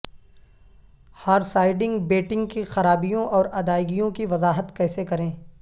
ہارسائڈنگ betting کی خرابیوں اور ادائیگیوں کی وضاحت کیسے کریں